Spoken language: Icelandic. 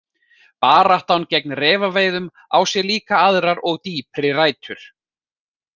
Baráttan gegn refaveiðum á sér líka aðrar og dýpri rætur.